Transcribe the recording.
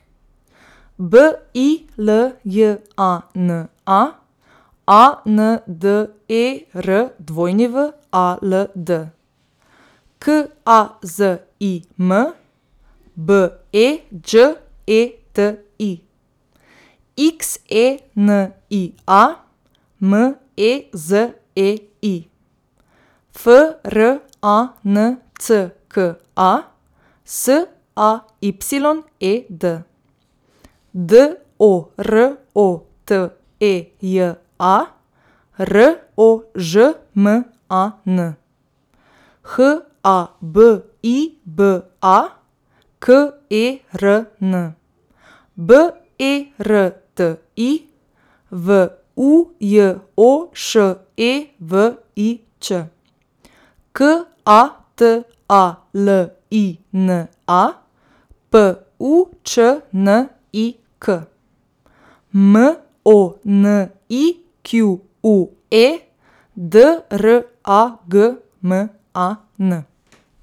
B I L J A N A, A N D E R W A L D; K A Z I M, B E Đ E T I; X E N I A, M E Z E I; F R A N C K A, S A Y E D; D O R O T E J A, R O Ž M A N; H A B I B A, K E R N; B E R T I, V U J O Š E V I Ć; K A T A L I N A, P U Č N I K; M O N I Q U E, D R A G M A N.